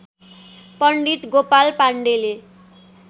पण्डित गोपाल पाण्डेले